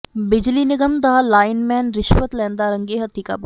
ਬਿਜਲੀ ਨਿਗਮ ਦਾ ਲਾਇਨਮੈਨ ਰਿਸ਼ਵਤ ਲੈਦਾ ਰੰਗੇ ਹੱਥੀ ਕਾਬੂ